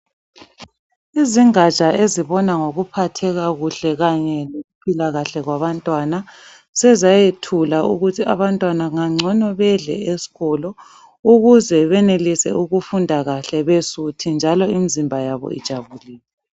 Izingatsha ezibona ngokuphatheka kuhle kanye lokuphila kahle kwabantwana. Sezayethula ukuthi abantwana ngangcono bedle esikolo ukuze benelise ukufunda kahle besuthi njalo imzimba yabo ijabulile.